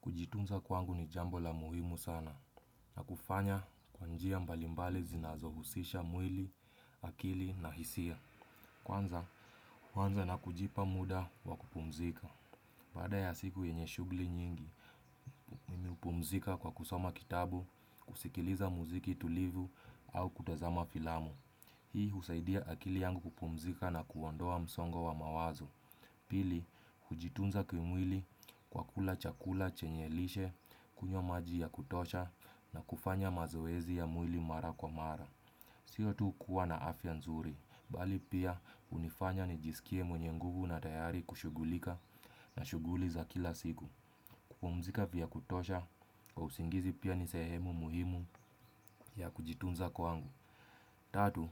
Kujitunza kwangu ni jambo la muhimu sana na kufanya kwa njia mbalimbali zinazohusisha mwili, akili na hisia. Kwanza, uanza na kujipa muda wa kupumzika. Baada ya siku yenye shughuli nyingi, mimi upumzika kwa kusoma kitabu, kusikiliza muziki tulivu au kutazama filamu. Hii husaidia akili yangu kupumzika na kuondoa msongo wa mawazo. Pili, hujitunza kimwili kwa kula chakula chenye lishe, kunywa maji ya kutosha na kufanya mazoezi ya mwili mara kwa mara. Sio tu kuwa na afya nzuri, mbali pia unifanya ni jisikie mwenye nguvu na tayari kushughulika na shughuli za kila siku. Kupumzika vya kutosha, kwa usingizi pia ni sehemu muhimu ya kujitunza kwangu. Tatu,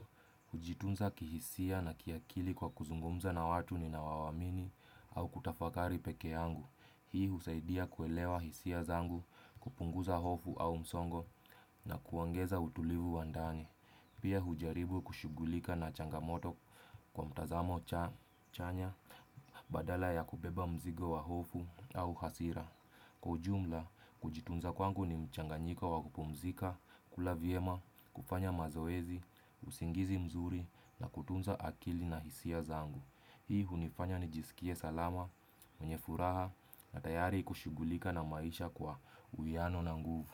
hujitunza kihisia na kiakili kwa kuzungumza na watu ninaowaamini au kutafakari pekee yangu. Hii husaidia kuelewa hisia zangu, kupunguza hofu au msongo na kuongeza utulivu wa ndani. Pia hujaribu kushughulika na changamoto kwa mtazamo chanya badala ya kubeba mzigo wa hofu au hasira. Kwa ujumla, kujitunza kwangu ni mchanganyiko wa kupumzika, kula vyema, kufanya mazoezi, usingizi mzuri na kutunza akili na hisia zangu. Hii unifanya nijisikie salama, mwenye furaha na tayari kushughulika na maisha kwa uyano na nguvu.